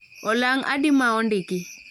Olang' adi maondiki